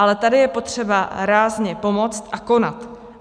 Ale tady je potřeba rázně pomoct a konat.